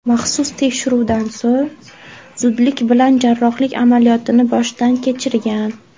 Maxsus tekshiruvdan so‘ng, zudlik bilan jarrohlik amaliyotini boshdan kechirgan.